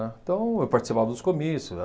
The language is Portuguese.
Então, eu participava dos comícios.